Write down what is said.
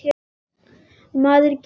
Maður gætir sín.